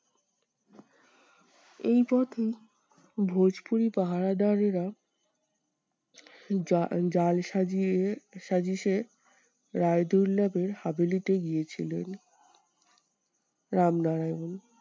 এই পথেই ভোজপুরি পাহাড়াদারেরা জা~ জাল সাজিয়ে রায়দুল্লভের গিয়েছিলেন রামনারায়ণ।